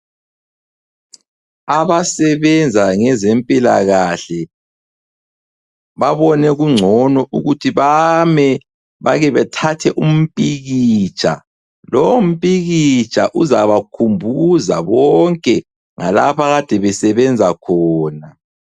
Abasebenza ngezempilakahle babone kungcono ukuthi bame bakebethathe umpikitsha lo mpikitsha uzabakhumbuza bonke ngalapha abakade besebenza khona.